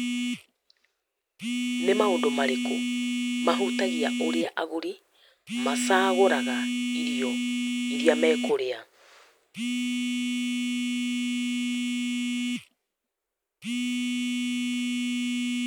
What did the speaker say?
Read question only